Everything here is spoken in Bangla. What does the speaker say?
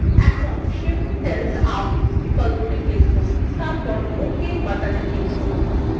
এখন shift cells up বিকল্পটি click করুন এবং তারপর ok button click করুন